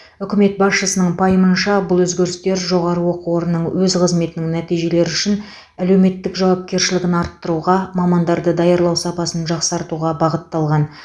үкімет басшысының пайымынша бұл өзгерістер жоғарғы оқу орындарының өз қызметінің нәтижелері үшін әлеуметтік жауапкершілігін арттыруға мамандарды даярлау сапасын жақсартуға бағытталған